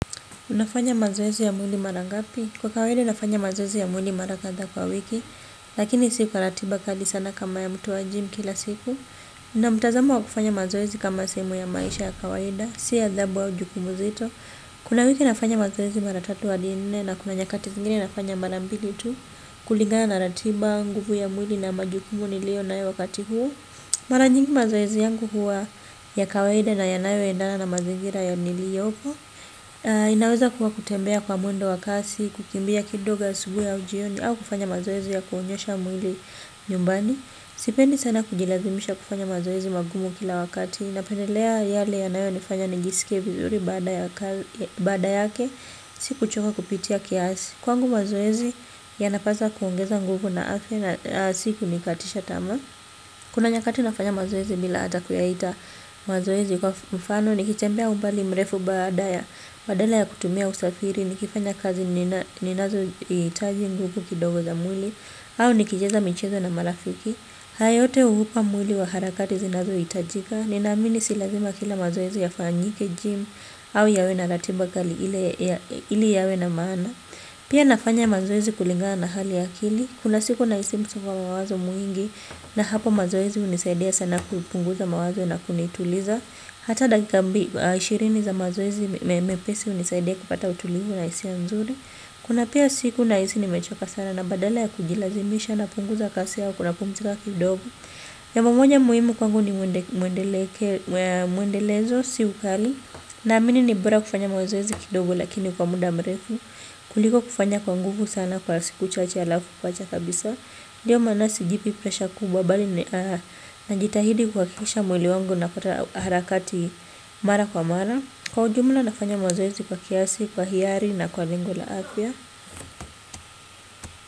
Unafanya mazoezi ya mwili mara ngapi? Kwa kawaida nafanya mazoezi ya mwili mara kadhaa kwa wiki, lakini siku kwa ratiba kali sana kama ya mtu wa gym kila siku. Nina mtazamo wa kufanya mazoezi kama sehemu ya maisha ya kawaida si adhabu au jukumu zetu kuna wiki nafanya mazoezi mara tatu hadi nne na kuna nyakati zingine nafanya mara mbili tu. Kulingana na ratiba au nguvu ya mwili na majukumu niliyo nayo wakati huo. Mara nyingi mazoezi yangu huwa ya kawaid na yanayoendana na mazingira niliyopo. Inaweza kuwa kutembea kwa mwendo wakasi, kukimbia kidogo asubuhi au jioni au kufanya mazoezi ya kuunyosha mwili nyumbani. Sipendi sana kujilazimisha kufanya mazoezi magumu kila wakati. Napendelea yale yanayo nifanya nijisike vizuri baada yake, siku choka kupitia kiasi. Kwangu mazoezi yanapaswa kuongeza nguvu na afya na siku nikatisha tamaa. Kuna nyakati nafanya mazoezi bila hata kuyaita mazoezi kwa mfano, nikitembea umbali mrefu badaa, badala ya kutumia usafiri, nikifanya kazi ninazo hitaji nguvu kidogo za mwili, au nikicheza michezo na marafiki. Hayo yote uhupa mwili wa harakati zinazo hitajika, ninaamini si lazima kila mazoezi ya fanyike gym, au yawe na ratimba kali ili yawe na maana. Pia nafanya mazoezi kulingana na hali ya akili. Kuna siku na hisi msongo wa mawazo mwingi na hapo mazoezi hunisaidia sana kupunguza mawazo na kunituliza. Hata dakikambi ishirini za mazoezi mepesi hunisaidia kupata utulivu na hisia mzuri. Kuna pia siku na hisi ni mechoka sana na badala ya kujilazimisha na punguza kazi yangu na pumzika kidogo. Jambo moja muhimu kwangu ni muendelezo si ukali. Na amini ni bora kufanya mazoezi kidogo lakini kwa muda mrefu kuliko kufanya kwa nguvu sana kwa siku chache halafu kuacha kabisa nDio maana si jipi presha kubwa bali na jitahidi kuhakikisha mwili wangu unapata harakati mara kwa mara. Kwa ujumla nafanya mazoezi kwa kiasi, kwa hiari na kwa lengo la apya.